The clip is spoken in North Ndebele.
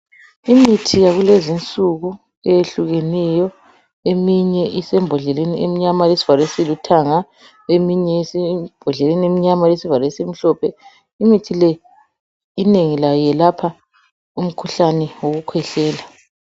Imithi yakulezinsuku eyehlukeneyo eminye isembodleleni emnyama elesivalo esilithanga. Eminye isembodleleni emnyama elesivalo esimhlophe. Imithi leyi inengi layo yelapha umkhuhlane wokukhwehlela.